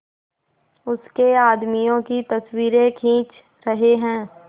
उसके आदमियों की तस्वीरें खींच रहे हैं